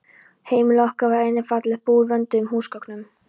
Heimili okkar var einnig fallegt, búið vönduðum húsgögnum.